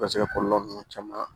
U bɛ se ka kɔlɔlɔ ninnu caman